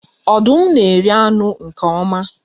Ọdụm na-eri anụ nke oma.